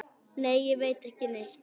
Nei, ég veit ekki neitt.